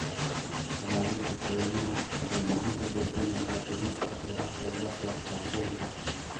Ilaalinta kaymaha waxay gacan ka geysaneysaa dhimista heerarka gaaska kaarboonka.